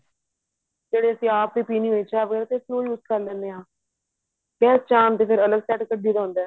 ਕਿਹੜਾ ਅਸੀਂ ਆਪ ਹੀ ਪੀਣੀ ਹੁੰਦੀ ਚਾਹ